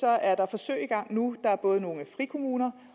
er der forsøg i gang nu både i frikommuner